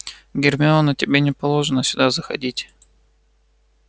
гермиона тебе не положено сюда заходить